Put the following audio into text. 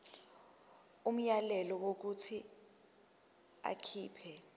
umyalelo wokuthi akhipha